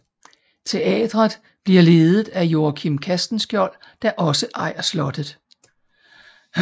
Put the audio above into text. Teatret bliver ledet af Joachim Castenschiold der også ejer slottet